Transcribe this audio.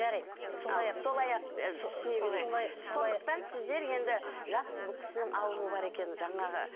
жарайды сондықтан сіздер енді жақсы бұл кісінің ауруы бар екен жаңағы